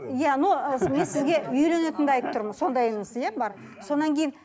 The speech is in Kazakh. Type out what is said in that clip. иә но ы мен сізге үйленетініңді айтып тұрмын сондайыңыз иә бар содан кейін